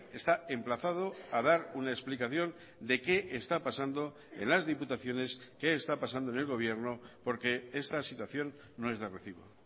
está emplazado a dar una explicación de qué está pasando en las diputaciones qué está pasando en el gobierno porque esta situación no es de recibo